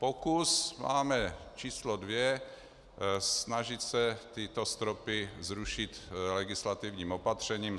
Pokus máme číslo 2, snažit se tyto stropy zrušit legislativním opatřením.